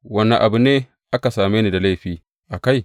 Wane abu ne aka same ni da laifi a kai?